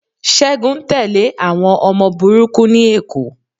Ṣẹ́gun ń tẹ́lẹ̀ àwọn ọmọ burúkú ní Èkó